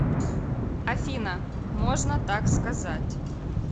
афина можно так сказать